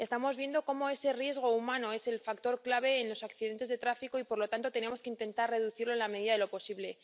Estamos viendo cómo ese riesgo humano es el factor clave en los accidentes de tráfico y, por lo tanto, tenemos que intentar reducirlo en la medida de lo posible.